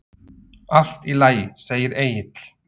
Allt í lagi, segir Egill.